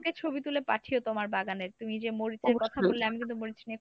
ছবি তুলে পাঠিও তোমার বাগানের। ‍তুমি যে মরিচের কথা বললে আমি কিন্তু মরিচ নিয়ে